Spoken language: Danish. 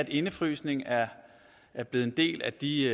indefrysning er er blevet en del af de